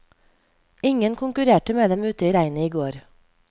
Ingen konkurrerte med dem ute i regnet i går.